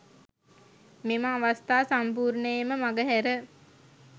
මෙම අවස්ථා සම්පූර්ණයෙන්ම මගහැර